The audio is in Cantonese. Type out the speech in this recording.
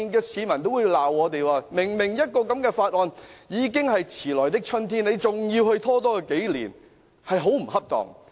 市民會罵我們，這項議案已經是遲來的春天，但仍要拖延數年，真是很不恰當。